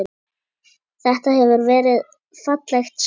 Þetta hefur verið fallegt sverð?